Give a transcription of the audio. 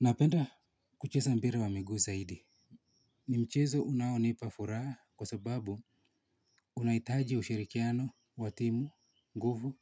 Napenda kucheza mpira wa miguu zaidi. Ni mchezo unaonipa furaha kwa sababu unahitaji ushirikiano wa timu, nguvu